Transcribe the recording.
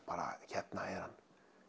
hérna er hann